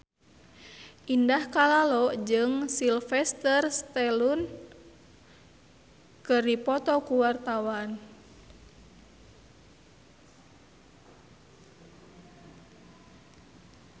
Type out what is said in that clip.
Indah Kalalo jeung Sylvester Stallone keur dipoto ku wartawan